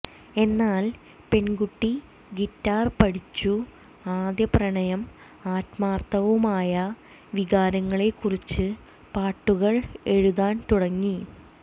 എന്നാൽ പെൺകുട്ടി ഗിറ്റാർ പഠിച്ചു ആദ്യ പ്രണയം ആത്മാർത്ഥവുമായ വികാരങ്ങളെക്കുറിച്ചു പാട്ടുകൾ എഴുതാൻ തുടങ്ങി